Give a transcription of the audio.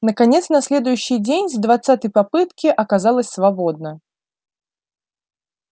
наконец на следующий день с двадцатой попытки оказалось свободно